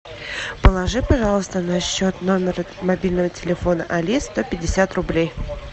положи пожалуйста на счет номера мобильного телефона али сто пятьдесят рублей